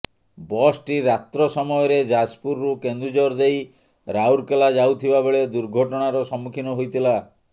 ବସଟି ରାତ୍ର ସମୟରେ ଯାଜପୁରରୁ କେନ୍ଦୁଝର ଦେଇ ରାଉରକେଲା ଯାଉଥିବା ବେଳେ ଦୁର୍ଘଟଣାର ସମ୍ମୁଖୀନ ହୋଇଥିଲା